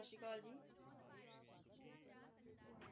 ਸਤਿ ਸ਼੍ਰੀ ਅਕਾਲ ਜੀ